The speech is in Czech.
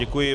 Děkuji.